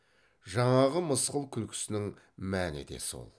жаңағы мысқыл күлкісінің мәні де сол